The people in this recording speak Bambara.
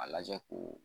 A lajɛ ko